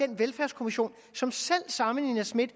den velfærdskommission som selv samme nina smith